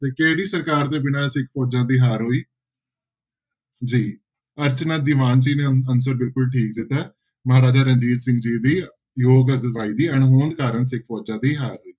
ਤੇ ਕਿਹੜੀ ਸਰਕਾਰ ਦੇ ਬਿਨਾਂ ਸਿੱਖ ਫੋਜ਼ਾਂ ਦੀ ਹਾਰ ਹੋਈ ਜੀ ਅਰਚਨਾ ਦੀਵਾਨ ਜੀ ਨੇ answer ਬਿਲਕੁਲ ਠੀਕ ਦਿੱਤਾ ਹੈ ਮਹਾਰਾਜਾ ਰਣਜੀਤ ਸਿੰਘ ਜੀ ਦੀ ਯੋਗ ਅਗਵਾਈ ਦੀ ਅਣਹੋਂਦ ਕਾਰਨ ਸਿੱਖ ਫੋਜ਼ਾਂ ਦੀ ਹਾਰ ਹੋਈ।